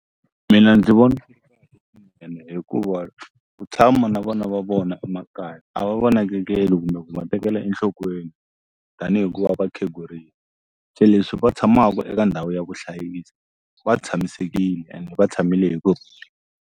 Mina ndzi vona hikuva ku tshama na vona va vona emakaya a va va nakekeli kumbe ku nga tekela enhlokweni tanihi ku va va khegurile se leswi va tshamaku eka ndhawu ya ku hlayisa va tshamisekile ende va tshamile hi ku.